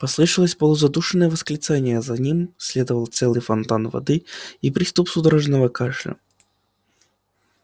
послышалось полузадушенное восклицание за ним наследовал целый фонтан воды и приступ судорожного кашля